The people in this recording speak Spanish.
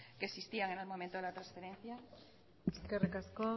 que existían en el momento de la transferencia eskerrik asko